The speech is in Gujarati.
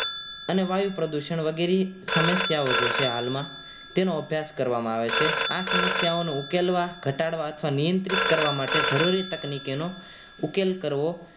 અને વાયુ પ્રદુષણ વગેરે જેવી સમસ્યાઓ છે હાલમાં તેનો અભ્યાસ કરવામાં આવે છે આ સમસ્યાનો ઉકેલવા ઘટાડવા અથવા નિયંત્રિત કરવા જરૂરી તકનીકોનો ઉકેલ કરવો